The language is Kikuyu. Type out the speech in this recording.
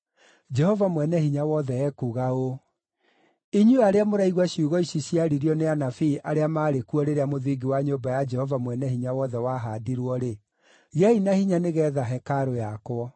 Jehova Mwene-Hinya-Wothe ekuuga ũũ: “Inyuĩ arĩa mũraigua ciugo ici ciaririo nĩ anabii arĩa maarĩ kuo rĩrĩa mũthingi wa nyũmba ya Jehova Mwene-Hinya-Wothe wahaandirwo-rĩ, gĩai na hinya nĩgeetha hekarũ yakwo.